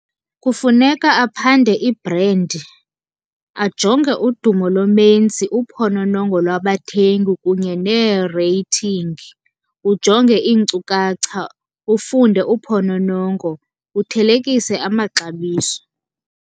Kufuneka aphande ibhrendi, ajonge udumo lomenzi, uphononongo lwabathengi kunye neereythingi. Ujonge iinkcukacha, ufunde uphononongo, uthelekise amaxabiso.